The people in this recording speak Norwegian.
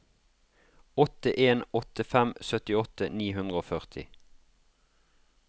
åtte en åtte fem syttiåtte ni hundre og førti